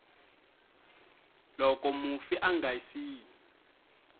loko mufi a nga siyi